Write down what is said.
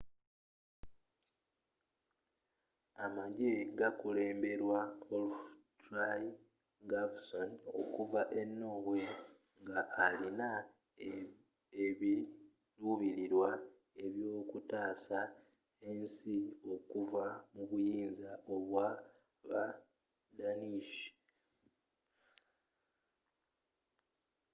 amagye gakulembelwa olaf trygvasson okuva e norway nga alino ebilubililwa ebyokutaasa ensi ye okuva mu buyinza bwa ba danish